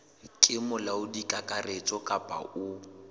ke molaodi kakaretso kapa o